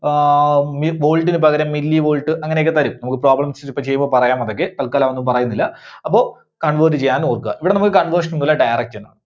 ആഹ് മി volt ന് പകരം millivolt അങ്ങനെ ഒക്കെ തരും. നമ്മുക്ക് problems ഇപ്പോ ചെയ്യുമ്പോ പറയാം അതൊക്കെ, തത്ക്കാലം അതൊന്നും പറയുന്നില്ല. അപ്പോ convert ചെയ്യാൻ ഓർക്കുക. ഇവിടെ നമുക്ക് conversion ഒന്നൂല്ല, direct